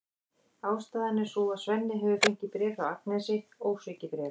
Ástæðan er sú að Svenni hefur fengið bréf frá Agnesi, ósvikið bréf!